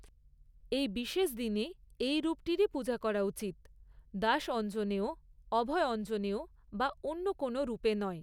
এই বিশেষ দিনে এই রূপটিরই পূজা করা উচিত, দাস অঞ্জনেয়, অভয় অঞ্জনেয় বা অন্য কোনও রূপে নয়।